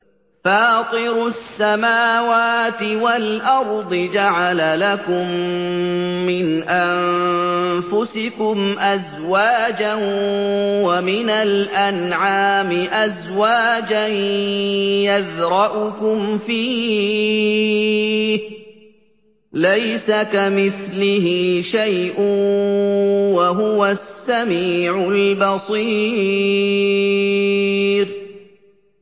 فَاطِرُ السَّمَاوَاتِ وَالْأَرْضِ ۚ جَعَلَ لَكُم مِّنْ أَنفُسِكُمْ أَزْوَاجًا وَمِنَ الْأَنْعَامِ أَزْوَاجًا ۖ يَذْرَؤُكُمْ فِيهِ ۚ لَيْسَ كَمِثْلِهِ شَيْءٌ ۖ وَهُوَ السَّمِيعُ الْبَصِيرُ